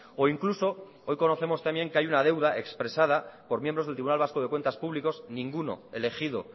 o incluso hoy conocemos también que hay una deuda expresada por miembros del tribunal vasco de cuentas públicos ninguno elegido